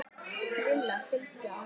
Lilla fylgdu á eftir henni.